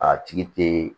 A tigi te